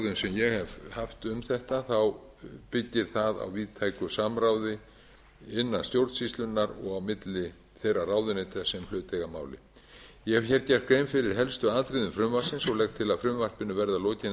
ég hef haft um þetta þá byggir það á víðtæki samráði innan stjórnsýslunnar og á milli þeirra ráðuneyta sem hlut eiga að máli ég hef gert grein fyrir helstu atriðum frumvarpsins og legg til að frumvarpinu verði að lokinni